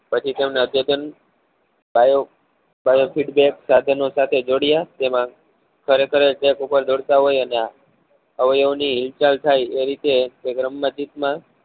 પછી તેમના જયારે feedback સાથેના સાથે જોડ્યા તેમાં ખરેખર જ પર જ દોડતા હોય એના અવયવ ની હિલચાલ થાય એ રીતે માં